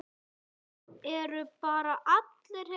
Eru bara allir hérna?